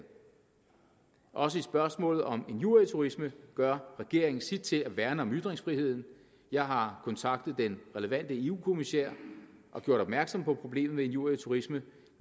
også i spørgsmålet om injurieturisme gør regeringen sit til at værne om ytringsfriheden jeg har kontaktet den relevante eu kommissær og gjort opmærksom på problemet med injurieturisme